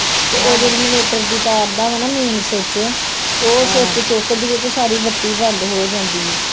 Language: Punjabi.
ਉਹ ਜੇਹੜੀ ਇਨਵੇਟਰ ਦੀ ਤਾਰ ਦਾ ਵਾ ਨਾ ਮੇਨ ਸੂਚ ਉਹ ਸੂਚ ਚੁੱਕਦੀ ਆ ਤੇ ਸਾਰੀ ਬਤੀ ਬੰਦ ਹੋ ਜਾਂਦੀ ਏ